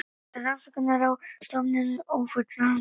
Þá eru rannsóknir á stofninum ófullnægjandi